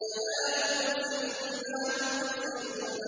فَلَا أُقْسِمُ بِمَا تُبْصِرُونَ